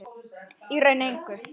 Í raun engu.